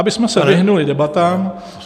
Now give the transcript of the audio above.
Abychom se vyhnuli debatám.